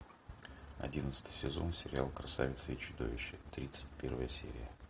одиннадцатый сезон сериал красавица и чудовище тридцать первая серия